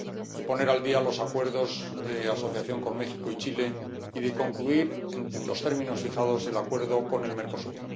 y poner al día los Acuerdos de Asociación con México y Chile y de concluir en los términos fijados el Acuerdo con el Mercosur.